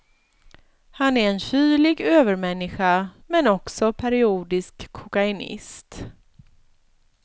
Han är en kylig övermänniska men också periodisk kokainist.